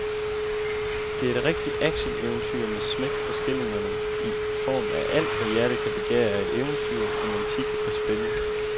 Det er et rigtigt actioneventyr med smæk for skillingerne i form af alt, hvad hjertet kan begære af eventyr, romantik og spænding.